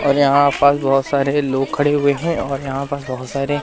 और यहाँ पर बहोत सारे लोग खड़े हुए है और यहाँ पर बहोत सारे --